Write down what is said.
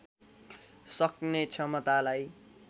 सक्ने क्षमतालाई